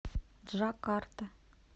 джакарта